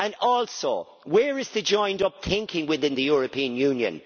Also, where is the joined-up thinking within the European Union?